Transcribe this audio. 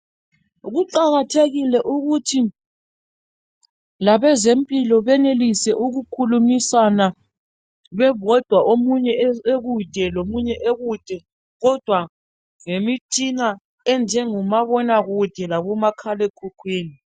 Kuqakathekile ukuthi labezempilakahle benelise ukukhulumisana bebodwa omunye ekude lomunye ekude kodwa ngemitshina enjengabomabonakude labomakhalekhukhwini.